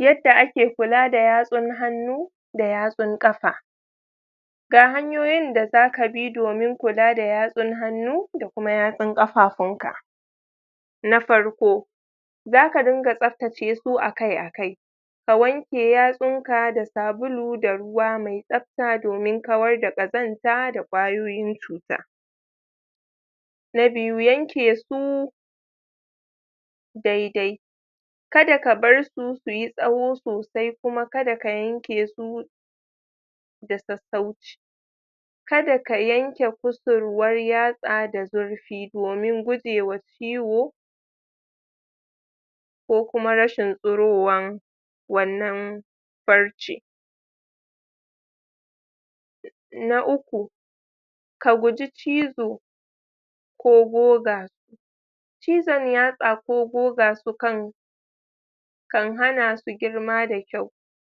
yadda ake kula da yatsun hannu da yatsun kafa ga hanyoyin da zaka bi domin kula da yatsun hannu da kuma yatsun kafafun ka na farko zak adungatsabtace su akai akai ka wanke yatsunka da sabulu da ruwa me tsabta domin kawar da kazanta da kwayoyim vuta na biyu yankesu daidai kada ka barsu suyi tsawo sosai kuma kada ka yankesu da sausauci kada ka yanke kusurwan yatsa da zurfi domin gujewa ciwo na uku ka guji cizo ko goga cizon yatsa ko goga su kan kan hana su girma da kyau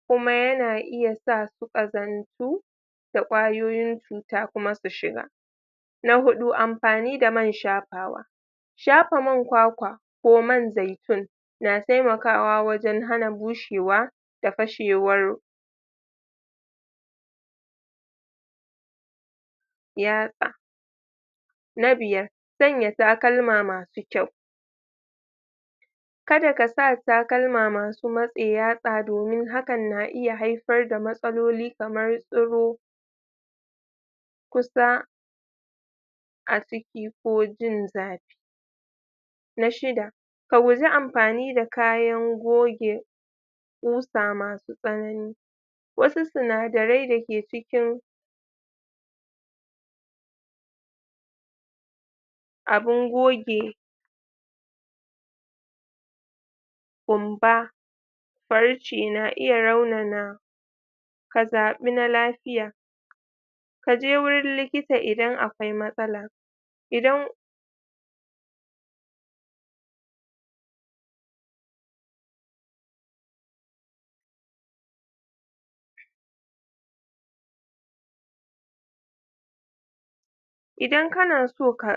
yana iya sa su su kazantu da kwayoyin cuta kuma su shiga na hudu amfani da man shafawa shafa man kwakwa ko man zaitun na taimakawa wajen hana bushewa da fashewar yatsa na biyar sanya takalma masu kyau kada ka sa takalma masu matse yatsa domin hakan na iya haifar da matsaloli kamar tsiro kusa a ciki ko jin zafi na shida ka guji amfani da kayan goge qusa nasu tsanani wasu sinadarai dake cikin abun goge qumba farce na iya raunana ka zabi na lafiya ka je wurin likita idan akwai matsala idan idan kana so ka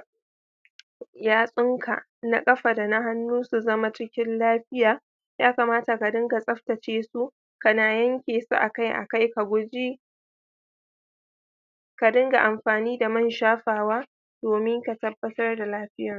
yatsun ka na kafa da na hannu su zama cikin lafiya ya kamata ka dunga tsabtace su kana yankesu akai akai ka dunga amfani da man shafawa domin ka tabbatar da lafiyansu